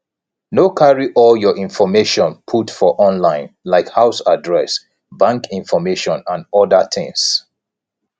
no carry all your information put for online like house address bank information and oda things